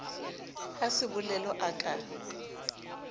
ha sebolelo a ka a